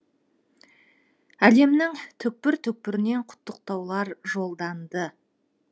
әлемнің түкпір түкпірінен құттықтаулар жолданды